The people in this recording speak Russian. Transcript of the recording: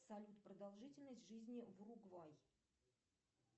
салют продолжительность жизни в уругвай